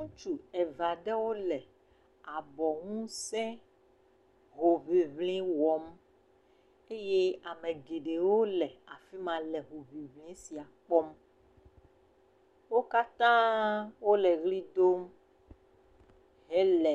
Ŋutsu eve aɖewo le abɔ ŋusẽ hoŋiŋli wɔm eye ame geɖewo le afi ma le hoŋiŋli sia kpɔm wo katã wole ʋli dom hele